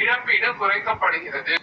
இழப்பீடு குறைக்கப்படுகிறது